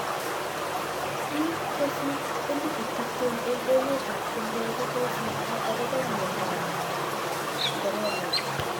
Biik kosir 20000 eng emet ab chumbek kokosirto akobo mnyondo ab corona.